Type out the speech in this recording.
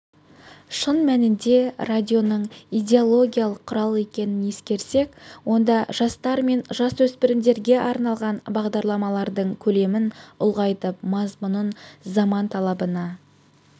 шын мәнінде радионың идеологиялық құрал екенін ескерсек онда жастар мен жасөспірімдерге арналған бағдарламалардың көлемін ұлғайтып мазмұнын заман талабына